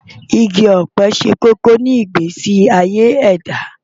Igi ọ̀pẹ ṣe kókó ní ìgbésí ayé ẹ̀dá.